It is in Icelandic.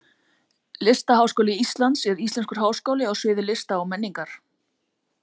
Listaháskóli Íslands er íslenskur háskóli á sviði lista og menningar.